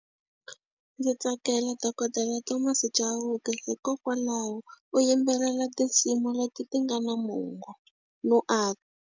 Ndzi tsakela dokodela Thomas Chauke hikokwalaho u yimbelela tinsimu leti ti nga na mongo no .